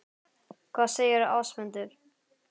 Hvað segir Ásmundur?